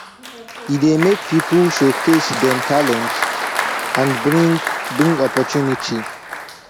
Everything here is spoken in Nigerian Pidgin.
e dey make people showcase dem talent and bring bring opportunity